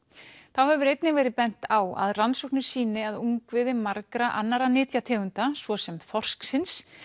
þá hefur einnig verið bent á að rannsóknir sýni að ungviði margra annarra nytjategunda svo sem þorsksins